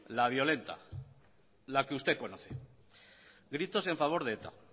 la violenta la que usted conoce gritos en favor de eta